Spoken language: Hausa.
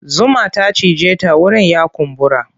Zuma ta cije ta wurin ya kumbura.